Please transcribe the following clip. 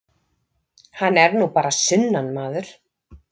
Hann er nú bara sunnanmaður.